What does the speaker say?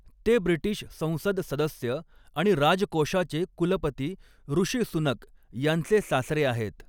ते ब्रिटिश संसद सदस्य आणि राजकोषाचे कुलपती ऋषी सुनक यांचे सासरे आहेत.